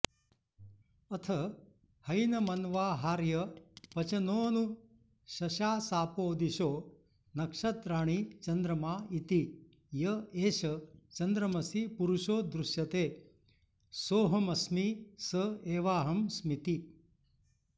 अथ हैनमन्वाहार्यपचनोऽनुशशासापो दिशो नक्षत्राणि चन्द्रमा इति य एष चन्द्रमसि पुरुषो दृश्यते सोऽहमस्मि स एवाहमस्मीति